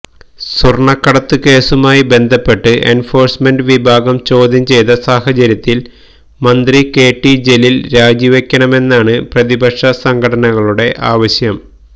സ്വർണ്ണക്കടത്ത് കേസുമായി ബന്ധപ്പെട്ട് എൻഫോഴ്സ്മെന്റ് വിഭാഗം ചോദ്യം ചെയ്ത സാഹചര്യത്തിൽ മന്ത്രി കെടി ജലീൽ രാജിവയ്ക്കണമെന്നാണ് പ്രതിപക്ഷ സംഘടനകളുടെ ആവശ്യം